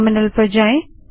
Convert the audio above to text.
terminal पर जाएँ